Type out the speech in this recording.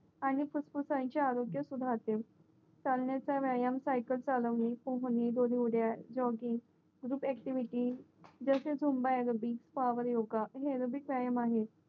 आणि फुफुसांच्या आरोग्य सुधारते चालण्याचा व्यायाम सायकलचालवणे दोरीउड्या जॉगिंग विथ ऍक्टिव्हिटी जसे जुंबा एरोबिक पावर योगा हे एरोबिक व्यायाम आहे